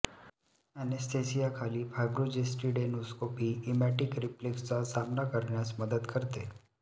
anaesthesia खाली फायब्रोजेस्टीोडेडेनोस्कोपी emetic रिफ्लेक्सचा सामना करण्यास मदत करते